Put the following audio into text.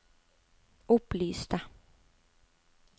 opplyste